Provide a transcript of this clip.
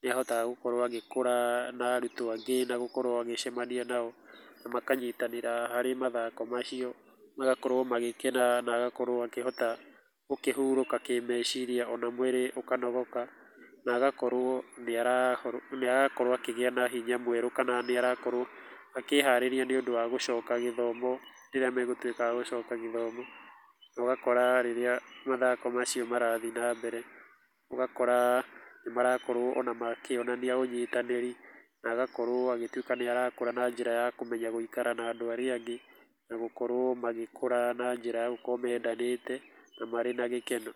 nĩ ahotaga gũkorwo agĩkũra na arutwo angĩ na gũkorwo agĩcamania nao, na makanyitanĩra harĩ mathako macio, magakorwo magĩkena na agakorwo akĩhota gũkĩhurũka kĩmeciria ona mwĩrĩ ũkanogoka, na agakorwo nĩ arakorwo akĩgĩa na hinya mwerũ kana nĩ arakorwo akĩharĩria nĩ ũndũ wa gũcoka gĩthomo rĩrĩa megũtuĩka a gũcoka gĩthomo, na ũgakora rĩrĩa mathako macio marathiĩ na mbere, ũgakora nĩ marakorwo ona makĩonania ũnyitanĩri, na agakorwo agĩtuĩka nĩ arakũra na njĩra ya kũmenya gũikara na andũ arĩa angĩ, na gũkorwo magĩkũra na njĩra ya gũkorwo mendanĩte, na marĩ na gĩkeno.